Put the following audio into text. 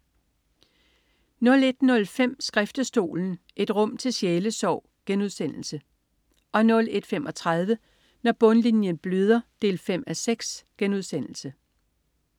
01.05 Skriftestolen, et rum til sjælesorg* 01.35 Når bundlinjen bløder 5:6*